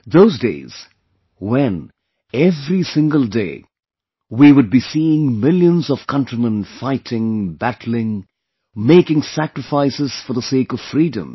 Those days, when, every single day, we would be seeing millions of countrymen fighting, battling, making sacrifices for the sake of freedom